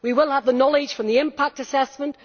We will have the knowledge from the impact assessment